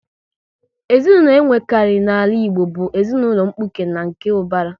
Ezinaụlọ e nwekari n'ala Igbo bụ ezinụlọ mkpuke na nke ubara